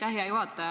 Hea juhataja!